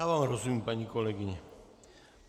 Já vám rozumím, paní kolegyně.